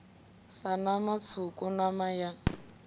sa nama tswuku nama ya